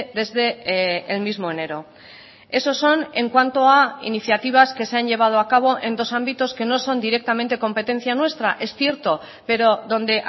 desde el mismo enero esos son en cuanto a iniciativas que se han llevado a cabo en dos ámbitos que no son directamente competencia nuestra es cierto pero donde